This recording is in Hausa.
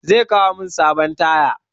Zai kawo min sabon taya.